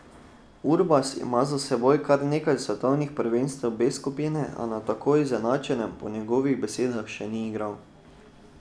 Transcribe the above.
Urbas ima za seboj kar nekaj svetovnih prvenstev B skupine, a na tako izenačenem po njegovih besedah še ni igral.